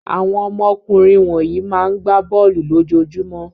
Àwọn ọmọkùnrin wọ̀nyí máa ń gbá bọ́ọ́lù lójoojúmọ́.